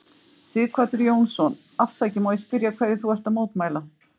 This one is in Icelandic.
Sighvatur Jónsson: Afsakið, má ég spyrja hverju þú ert að mótmæla?